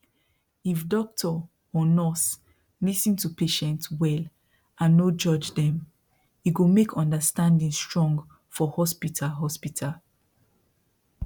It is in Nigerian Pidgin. if doctor or nurse lis ten to patient well and no judge dem e go make understanding strong for hospital hospital